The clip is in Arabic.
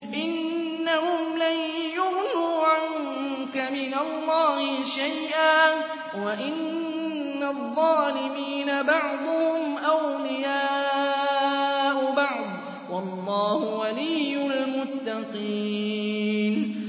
إِنَّهُمْ لَن يُغْنُوا عَنكَ مِنَ اللَّهِ شَيْئًا ۚ وَإِنَّ الظَّالِمِينَ بَعْضُهُمْ أَوْلِيَاءُ بَعْضٍ ۖ وَاللَّهُ وَلِيُّ الْمُتَّقِينَ